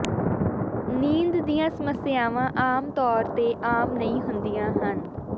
ਨੀਂਦ ਦੀਆਂ ਸਮੱਸਿਆਵਾਂ ਆਮ ਤੌਰ ਤੇ ਆਮ ਨਹੀਂ ਹੁੰਦੀਆਂ ਹਨ